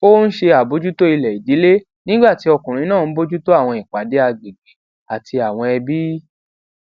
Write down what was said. ó ń ṣe àbójútó ilè ìdílé nígbà tí ọkùnrin náà ń bójú tó àwọn ìpàdé agbègbè àti àwọn ẹbí